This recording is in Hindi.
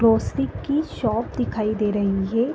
ग्रोस्री की शॉप दिखाई दे रही हे।